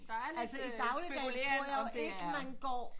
Altså i dagligdagen tror jeg ikke man går